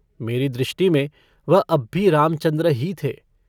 मेरी दृष्टि में वह अब भी रामचन्द्र ही थे।